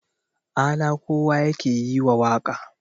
ala kowa yake yi wa waƙa